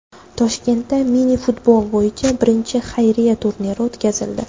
Toshkentda mini-futbol bo‘yicha birinchi xayriya turniri o‘tkazildi.